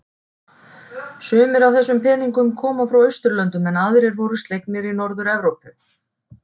Sumir af þessum peningnum koma frá Austurlöndum en aðrir voru slegnir í Norður-Evrópu.